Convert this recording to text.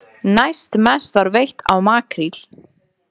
Næst mest var veitt af makríl.